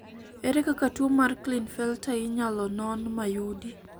ere kaka tuo mar Klinefelter inyalo non ma yudi?